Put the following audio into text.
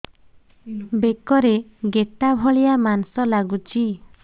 ବେକରେ ଗେଟା ଭଳିଆ ମାଂସ ଲାଗୁଚି